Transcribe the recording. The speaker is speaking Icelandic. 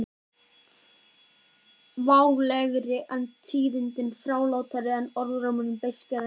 Válegri en tíðindi þrálátari en orðrómur beiskari en sannleikur